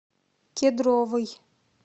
кедровый